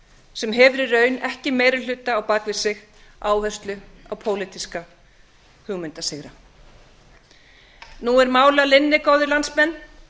sem hefur í raun ekki meiri hluta á bak við sig áherslu á pólitíska hugmyndasigra nú er mál að linni góðir landsmenn